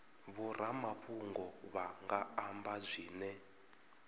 vhoramafhungo vha nga amba zwine